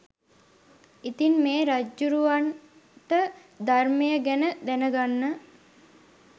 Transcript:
ඉතින් මේ රජ්ජුරුවන්ට ධර්මය ගැන දැනගන්න